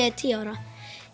er tíu ára